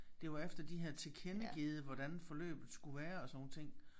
Det var efter de havde tilkendegivet hvordan forløbet skulle være og sådan nogle ting